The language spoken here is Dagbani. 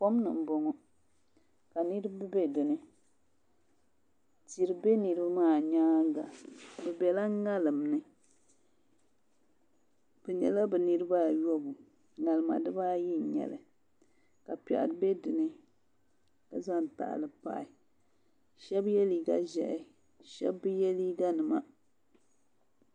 Kom ni n boŋo ka niraba bɛ dinni tihi bɛ niraba maa nyaanga bi biɛla ŋarim ni bi nyɛla bi niraba ayobu ŋarima dibaayi n nyɛli ka piɛɣu bɛ dinni ka zaŋ tahali pahi shab yɛ liiga ʒiɛhi ka shab bi yɛ liiga nima